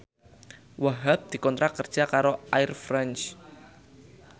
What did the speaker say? Wahhab dikontrak kerja karo Air France